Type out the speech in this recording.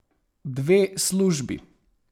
Dve službi?